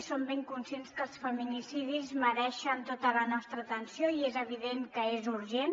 som ben conscients que els feminicidis mereixen tota la nostra atenció i és evident que és urgent